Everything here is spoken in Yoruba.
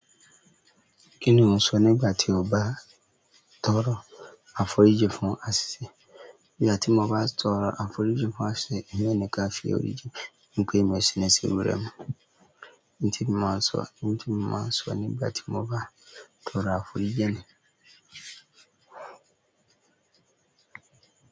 Kí ni ò ń sọ nígbà tí ó bá tọrọ àforíjì fún àṣìṣe? Nígbà tí mo bá tọrọ àforíjì fún àṣìṣe, èmi ò ní kí a fi èrò jẹ ni pé èmi ò ṣì ní sínú rẹ̀ mọ́. Ní ti mo máa sọ, ní ti mo máa sọ nígbà tí mo bá tọrọ àforíjì ni.